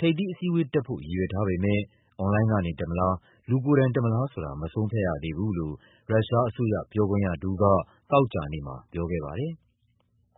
ထိပ်သီးအစည်းအဝေးတက်ဖို့ ရည်ရွယ်ထားပေမဲ့ အွန်လိုင်းကနေ တက်မလား၊ လူကိုယ်တိုင် တက်မလားဆိုတာ မဆုံးဖြတ်ရသေးဘူးလို့ ရုရှားအစိုးရ ပြောခွင့်ရတဦးက သောကြာနေ့မှာ ပြောခဲ့ပါတယ်။